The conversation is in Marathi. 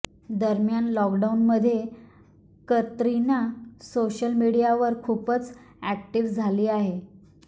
दरम्यान लॉकडाऊनमध्ये कतरिना सोशल मीडियावर खूपच अॅक्टिव्ह झाली आहे